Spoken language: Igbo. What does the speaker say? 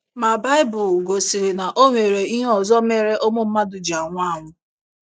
Ma, Baịbụl gosịrị na o nwere ihe ọzọ mere ụmụ mmadụ ji anwụ anwụ.